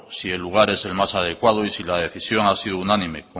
si el lugar es el más adecuado y si la decisión ha sido unánime